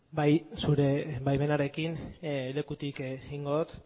bai zure baimenarekin lekutik egingo dut